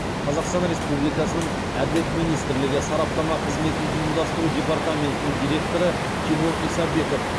қазақстан республикасының әділет министрлігі сараптама қызметін ұйымдастыру департаментінің директоры тимур исабеков